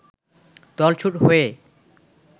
দলছুট হয়ে